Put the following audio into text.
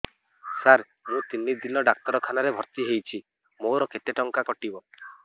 ସାର ମୁ ତିନି ଦିନ ଡାକ୍ତରଖାନା ରେ ଭର୍ତି ହେଇଛି ମୋର କେତେ ଟଙ୍କା କଟିବ